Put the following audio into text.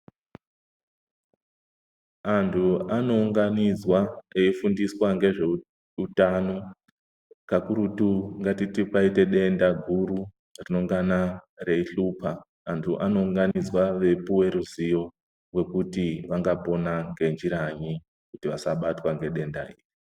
Antu ano unganidzwa eyi fundiswa nge zveutano kakurutu ngatiti kwaite denda guru rinongana rei hlupa antu ano unganidzwa vei puwa ruzivo rwekuti vangapona nge njira nyi kuti vasabatwa ne denda iri.